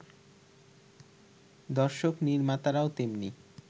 দর্শক-নির্মাতারাও তেমনি